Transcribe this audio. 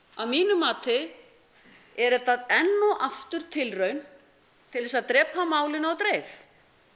að mínu mati er þetta enn og aftur tilraun til þess að drepa málinu á dreif